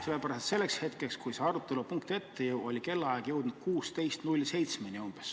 Sellepärast, et selleks hetkeks, kui see arutelu punkt ette jõudis, oli kellaaeg jõudnud juba umbes 16.07-ni.